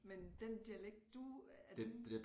Men den dialekt du er den